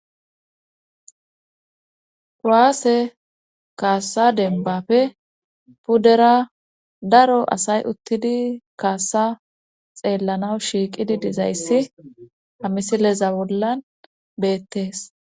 kuwase kaassa dembapfe puddera daro asay uttidi kaassa xeellanaw shiiqidi dizayssi hamisileza wollan beettees